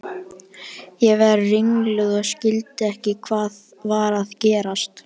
Ég varð ringluð og skildi ekki hvað var að gerast.